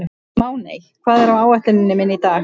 Máney, hvað er á áætluninni minni í dag?